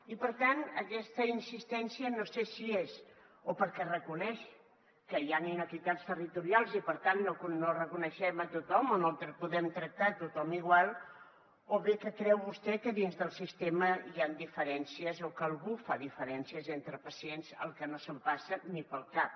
i per tant aquesta insistència no sé si és o perquè reconeix que hi han iniquitats territorials i per tant no reconeixem a tothom o no podem tractar a tothom igual o bé que creu vostè que dins del sistema hi han diferències o que algú fa diferències entre pacients cosa que no em passa ni pel cap